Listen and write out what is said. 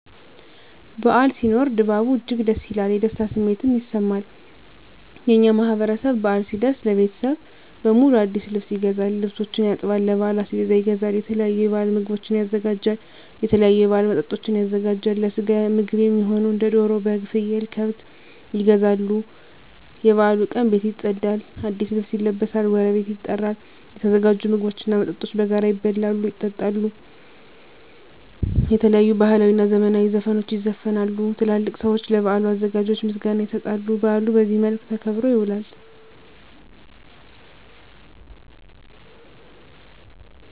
በዓል ሲኖር ድባቡ እጅግ ደስ ይላል። የደስታ ስሜትም ይሰማል። የእኛ ማህበረሰብ በአል ሲደርስ ለቤተሰብ በሙሉ አዲስ ልብስ ይገዛል፤ ልብሶችን ያጥባል፤ ለበዓል አስቤዛ ይገዛል፤ የተለያዩ የበዓል ምግቦችን ያዘጋጃል፤ የተለያዩ የበዓል መጠጦችን ያዘጋጃል፤ ለስጋ ምግብ እሚሆኑ እንደ ደሮ፤ በግ፤ ፍየል፤ ከብት ይገዛሉ፤ የበዓሉ ቀን ቤት ይፀዳል፤ አዲስ ልብስ ይለበሳል፤ ጎረቤት ይጠራል፤ የተዘጋጁ ምግቦች እና መጠጦች በጋራ ይበላሉ፤ ይጠጣሉ፤ የተለያዩ ባህላዊ እና ዘመናዊ ዘፈኖች ይዘፈናሉ፤ ትላልቅ ሰዊች ለበዓሉ አዘጋጆች ምስጋና ይሰጣሉ፤ በአሉ በዚህ መልክ ተከብሮ ይውላል።